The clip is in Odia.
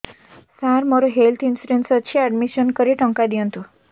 ସାର ମୋର ହେଲ୍ଥ ଇନ୍ସୁରେନ୍ସ ଅଛି ଆଡ୍ମିଶନ କରି ଟଙ୍କା ଦିଅନ୍ତୁ